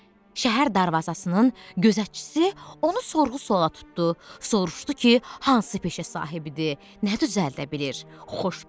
Şəhər darvazasının gözətçisi onu sorğu-suala tutdu, soruşdu ki, hansı peşə sahibidir, nə düzəldə bilir.